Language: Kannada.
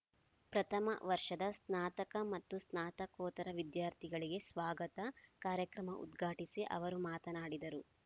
ಪ್ರಥಮ ವರ್ಷದ ಸ್ನಾತಕ ಮತ್ತು ಸ್ನಾತಕೋತ್ತರ ವಿದ್ಯಾರ್ಥಿಗಳಿಗೆ ಸ್ವಾಗತ ಕಾರ್ಯಕ್ರಮ ಉದ್ಘಾಟಿಸಿ ಅವರು ಮಾತನಾಡಿದರು